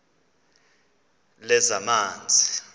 lezamanzi